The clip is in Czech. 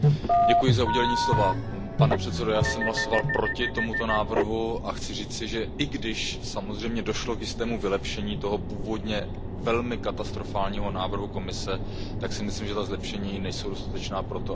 Pane předsedající, já jsem hlasoval proti tomuto návrhu a chci říci, i když samozřejmě došlo k jistému vylepšení toho původně velmi katastrofálního návrhu Komise, že si myslím, že ta zlepšení nejsou dostatečná pro to, abychom mohli návrh podpořit.